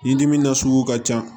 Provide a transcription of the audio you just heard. Ɲidimi nasugu ka ca